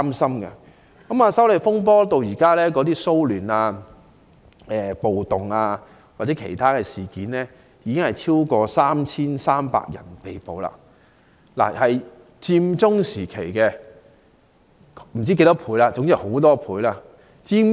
修例風波引起的騷亂、暴動或其他事件中，至今已有超過 3,300 人被捕，大概比佔中時期被捕人士的數目超出很多倍。